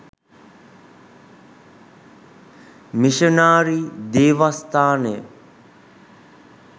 missionary දේවස්ථානය